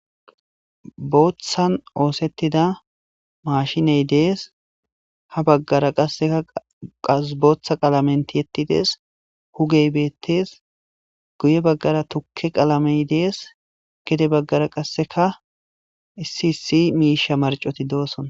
booththan oosettida mashiney dees ha baggara assekaqasbooththa qalamenti yettidees hugey beettes guye baggara tukke qalamey dees gede baggara qasseka issi issi miisha marcoti doosson